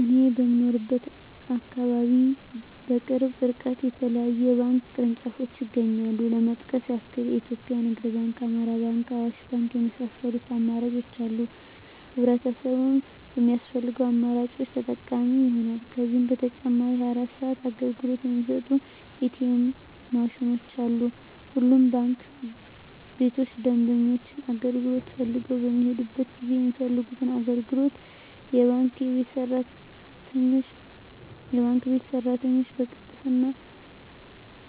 እኔ በምኖርበት አካባቢ በቅርብ እርቀት የተለያዩ የባንክ ቅርንጫፎች ይገኛሉ ለመጥቀስ ያክል ኢትዮጵያ ንግድ ባንክ፣ አማራ ባንክ፣ አዋሽ ባንክ የመሳሰሉት አማራጮች አሉ ህብረተሰቡም በሚፈልገው አማራጮች ተጠቃሚ ይሆናሉ። ከዛም በተጨማሪ 24 ሰዓት አገልግሎት የሚሰጡ ኢ.ቲ. ኤምዎች ማሽኖችም አሉ። ሁሉም ባንክ ቤቶች ደንበኞች አገልግሎት ፈልገው በሚሔዱበት ጊዜ የሚፈልጉትን አገልግሎት የባንክ ቤት ሰራተኞች በቅልጥፍና፣